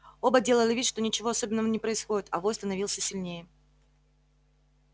оба делали вид что ничего особенного не происходит а вой становился сильнее